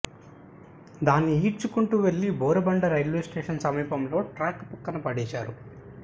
దాన్ని ఈడ్చుకుంటూ వెళ్లి బోరబండ రైల్వే స్టేషన్ సమీపంలో ట్రాక్ పక్కన పడేశారు